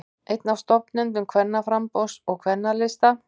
Einn af stofnendum Kvennaframboðs og Kvennalista